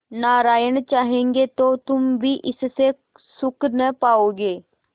नारायण चाहेंगे तो तुम भी इससे सुख न पाओगे